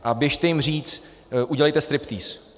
A běžte jim říct: Udělejte striptýz.